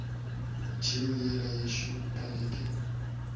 tšhemo yela yešo ka leke